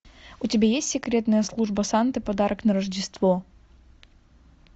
у тебя есть секретная служба санты подарок на рождество